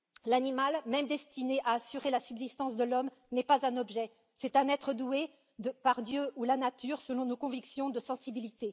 L'animal, même destiné à assurer la subsistance de l'homme, n'est pas un objet, c'est un être doué par Dieu ou la nature, selon nos convictions, de sensibilité.